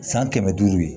San kɛmɛ duuru ye